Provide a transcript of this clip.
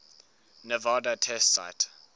nevada test site